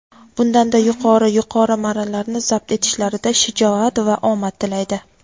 bundanda yuqori yuqori marralarni zabt etishlarida shijoat va omad tilaydi!.